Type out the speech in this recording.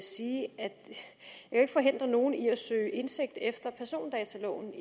jeg forhindre nogen i at søge indsigt efter persondataloven